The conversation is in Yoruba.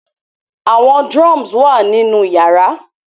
Awọn drums wa ninu yara